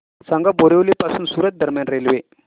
सांगा बोरिवली पासून सूरत दरम्यान रेल्वे